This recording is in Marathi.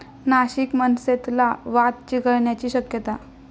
नाशिक मनसेतला वाद चिघळण्याची शक्यता